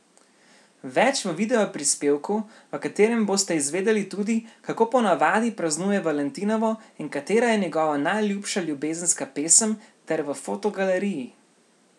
Več v videoprispevku, v katerem boste izvedeli tudi, kako po navadi praznuje valentinovo in katera je njegova najljubša ljubezenska pesem, ter v fotogaleriji!